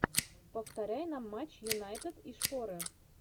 повторяй нам матч юнайтед и шпоры